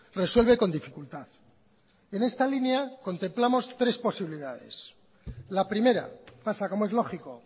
resuelve con dificultad en esta línea contemplamos tres posibilidades la primera pasa como es lógico